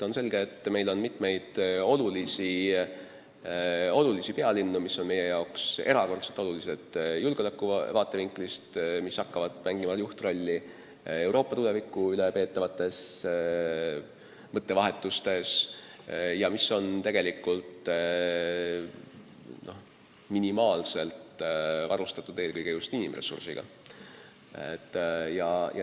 On selge, et on mitu olulist pealinna, mis on meie jaoks erakordselt olulised julgeoleku vaatevinklist, mis hakkavad mängima juhtrolli Euroopa tuleviku üle peetavates mõttevahetustes, aga mille saatkonnad on tegelikult minimaalselt varustatud eelkõige just inimressursiga.